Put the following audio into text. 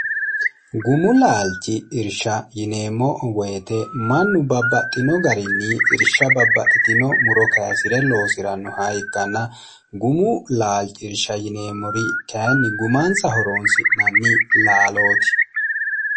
gumu laalchi irsha yineemmo woyite mannu babbaxxino garinni irsha babbaxxitino muro kayisi're loosi'rannoha ikkanna gumu laalchi irsha yineemmori kayinni gumaansa horoonsi'nanni laalooti